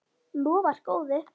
Lofar góðu.